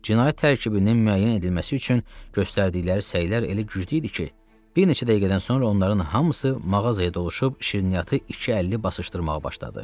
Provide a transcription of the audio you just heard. Cinayət tərkibinin müəyyən edilməsi üçün göstərdikləri səylər elə güclü idi ki, bir neçə dəqiqədən sonra onların hamısı mağazaya doluşub şirniyyatı iki əlli basışdırmağa başladı.